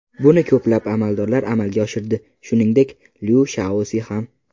Buni ko‘plab amaldorlar amalga oshirdi, shuningdek, Lyu Shaosi ham.